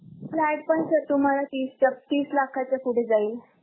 flat पण sir तुम्हांला तीस लाखाच्या पुढे जाईल.